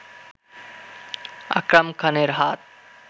আকরাম খানের হাত